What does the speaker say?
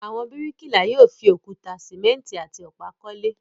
Àwọn bíríkìlà yóò fi òkúta, sìmẹ́ńtì àti ọ̀pá kọ́lé.